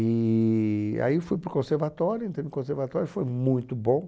E aí eu fui para o conservatório, entrei no conservatório, foi muito bom.